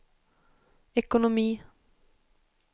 ekonomi